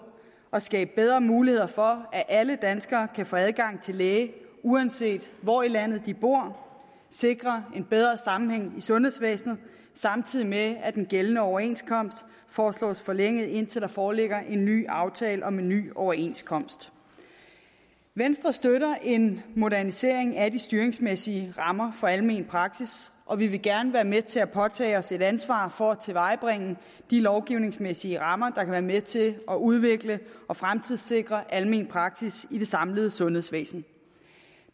at skabe bedre muligheder for at alle danskere kan få adgang til læge uanset hvor i landet de bor sikre en bedre sammenhæng i sundhedsvæsenet samtidig med at den gældende overenskomst foreslås forlænget indtil der foreligger en ny aftale om en ny overenskomst venstre støtter en modernisering af de styringsmæssige rammer for almen praksis og vi vil gerne være med til at påtage os et ansvar for at tilvejebringe de lovgivningsmæssige rammer der kan være med til at udvikle og fremtidssikre almen praksis i det samlede sundhedsvæsen